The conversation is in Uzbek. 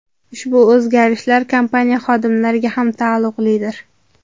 Ushbu o‘zgarishlar kompaniya xodimlariga ham taalluqlidir.